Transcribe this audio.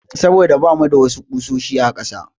Saboda bamu da wasu ƙusoshi a ƙasa.